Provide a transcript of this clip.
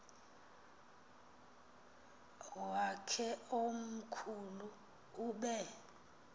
wakhe omkhulu ube